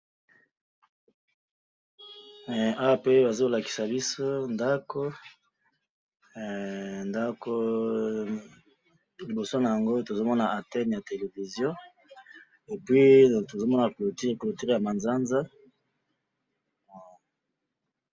awa pe azo lakisa biso ndaku ndaku liboso nango na zo mona entene ya television e puis tozo mona clouture ya manzanza